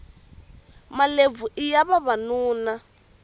malebvu iya vavanuna